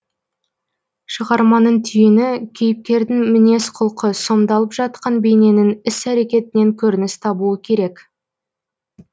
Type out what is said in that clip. шығарманың түйіні кейіпкердің мінез құлқы сомдалып жатқан бейненің іс әрекетінен көрініс табуы керек